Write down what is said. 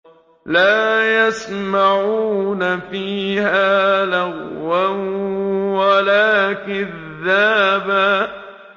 لَّا يَسْمَعُونَ فِيهَا لَغْوًا وَلَا كِذَّابًا